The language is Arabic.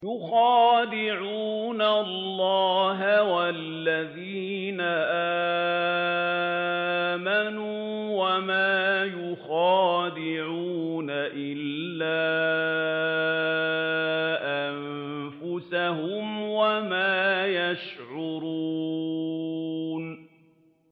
يُخَادِعُونَ اللَّهَ وَالَّذِينَ آمَنُوا وَمَا يَخْدَعُونَ إِلَّا أَنفُسَهُمْ وَمَا يَشْعُرُونَ